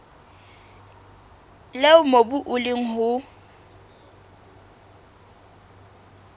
leo mobu o leng ho